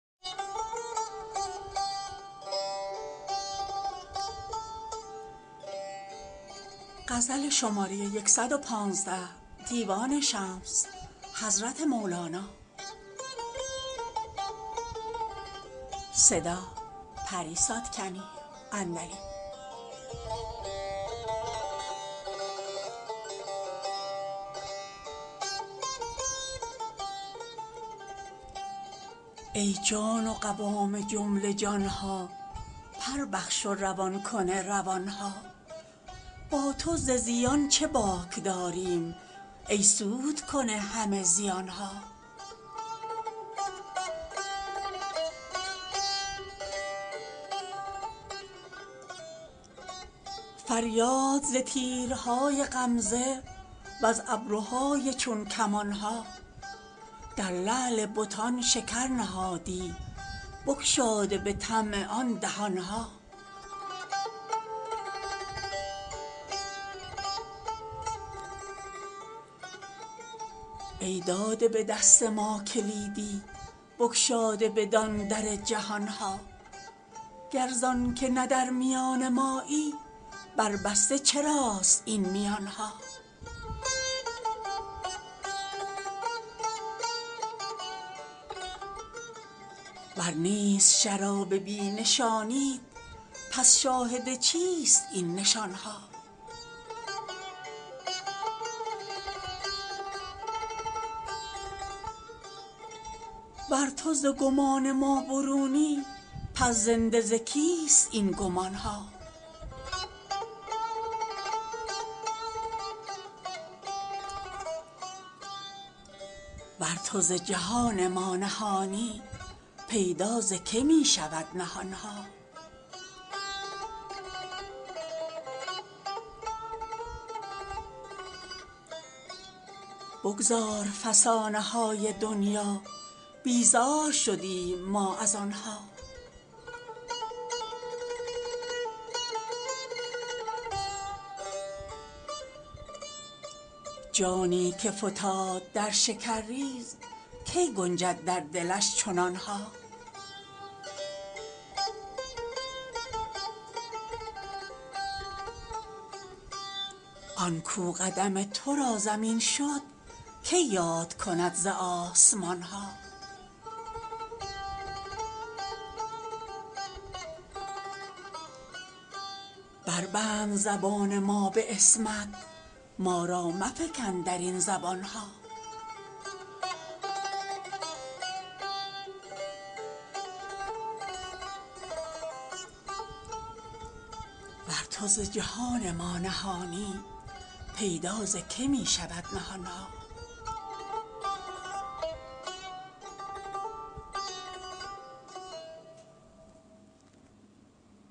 ای جان و قوام جمله جان ها پر بخش و روان کن روان ها با تو ز زیان چه باک داریم ای سودکن همه زیان ها فریاد ز تیرهای غمزه وز ابروهای چون کمان ها در لعل بتان شکر نهادی بگشاده به طمع آن دهان ها ای داده به دست ما کلیدی بگشاده بدان در جهان ها گر زانک نه در میان مایی برجسته چراست این میان ها ور نیست شراب بی نشانیت پس شاهد چیست این نشان ها ور تو ز گمان ما برونی پس زنده ز کیست این گمان ها ور تو ز جهان ما نهانی پیدا ز که می شود نهان ها بگذار فسانه های دنیا بیزار شدیم ما از آن ها جانی که فتاد در شکرریز کی گنجد در دلش چنان ها آن کاو قدم تو را زمین شد کی یاد کند ز آسمان ها بربند زبان ما به عصمت ما را مفکن در این زبان ها